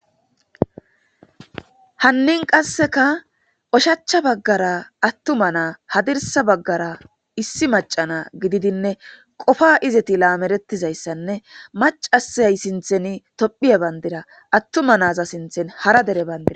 Haninne qaseka oshicha bagara atuma hadirsa bagara issi maca na gididinneqopa izeti lameretizaysanne macashay sinthan tophiya Bandra atuma sinthan hara dere bandira..